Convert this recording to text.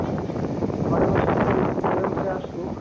ଘରେ ବସିକି ମୋର UCO m passbook